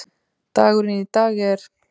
Dagurinn í dag er.